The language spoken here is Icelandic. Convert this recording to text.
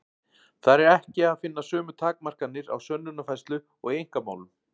Þar er ekki að finna sömu takmarkanir á sönnunarfærslu og í einkamálum.